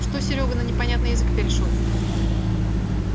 что серёга на непонятный язык перешёл